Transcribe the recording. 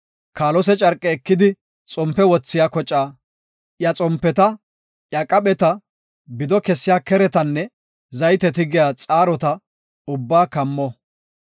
“Kaalose carqe ekidi xompe wothiya kocaa, iya xompetara, iya qaphetara, bido kessiya keretaranne zayte tigiya xaarotara ubbaa kammo.